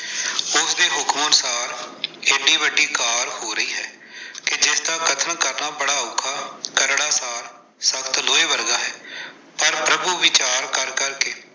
ਉਸ ਦੇ ਹੁਕਮ ਅਨੁਸਾਰ ਇੰਨੀ ਵੱਡੀ ਕਾਰ ਹੋ ਰਹੀ ਹੈ ਕਿ ਜਿਸਦਾ ਕਥਨ ਕਰਨਾ ਬੜਾ ਔਖਾ, ਕਰੜਾ ਸਾਰ-ਸਖਤ ਲੋਹੇ ਵਰਗਾ ਹੈ । ਪਰ ਪ੍ਰਭੂ ਵਿਚਾਰ ਕਰ ਕਰ ਕੇ।